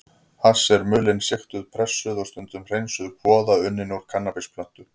Hass er mulin, sigtuð, pressuð og stundum hreinsuð kvoða unnin úr kannabisplöntum.